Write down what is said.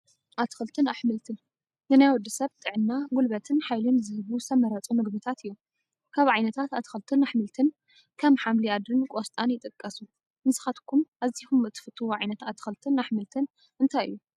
ኣትክልትን ኣሕምልትን፡- ንናይ ወዲ ሰብ ጥዕና ፣ ጉልበትን ሓይልን ዝህቡ ዝተመረፁ ምግብታት እዮም፡፡ ካብ ዓይነታት ኣትክልትን ኣሕምልትን ከም ሓምሊ ኣድሪን ቆስጣን ይጥቀሱ፡፡ ንስኻትኩም ኣዚኹም እትፈትዎ ዓ/ት ኣትክልትን ኣሕምልትን እንታይ እዩ?